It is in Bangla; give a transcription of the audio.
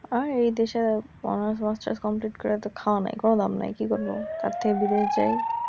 আয় এই দেশের অর্নাস মাস্টার্স কমপিলিট করে এত খাওয়া নাই কোন দাম নাই কি করব? তার থেকে বিদেশ যাই